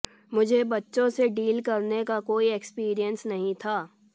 मुझे बच्चों से डील करने का कोई एक्सीपिरिएंस नहीं था